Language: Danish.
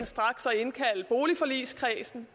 indkalde boligforligskredsen